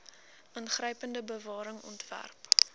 ingrypende bewaring ontwerp